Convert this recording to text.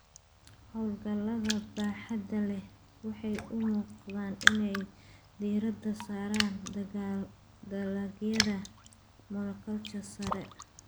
Hawlgallada baaxadda leh waxay u muuqdaan inay diiradda saaraan dalagyada monoculture sare.